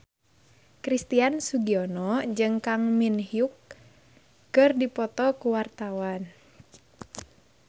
Christian Sugiono jeung Kang Min Hyuk keur dipoto ku wartawan